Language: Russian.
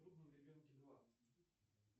трудном ребенке два